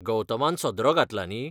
गौतमान सदरो घातला न्ही?